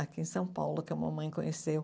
Aqui em São Paulo que a mamãe conheceu.